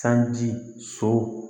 Sanji so